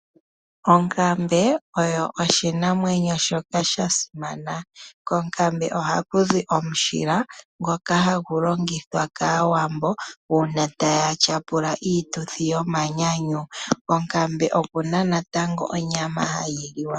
Okambe Oyo oshinamwenyo shoka shasimana, kokambe ohakuzi omushila ngoka hangulongithwa kawaambo una tayatyapula iituthi yomanyanyu, kokambe okuna natango onyama hayiliwa.